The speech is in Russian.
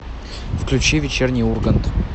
включи вечерний ургант